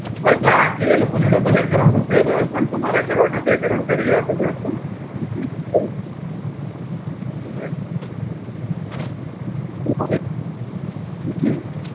હાં, એટલે આ એ લોકો જોડે ભલે કરોડ રૂપયા રહે પણ તમારે કરોડનાં બે કરોડ કરી આપે બસ તમને બીજું તો, એટલે, Right, right.